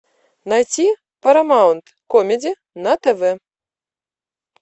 найти парамаунт комеди на тв